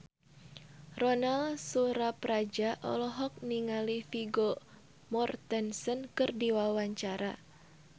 Ronal Surapradja olohok ningali Vigo Mortensen keur diwawancara